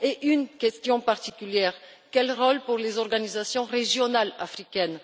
Et une question particulière quel rôle pour les organisations régionales africaines?